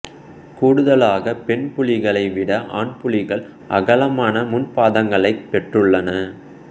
கூடுதலாகப் பெண் புலிகளை விட ஆண் புலிகள் அகலமான முன் பாதங்களைப் பெற்றுள்ளன